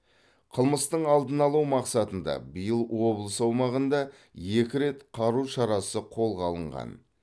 қылмыстың алдын алу мақсатында биыл облыс аумағында екі рет қару шарасы қолға алынған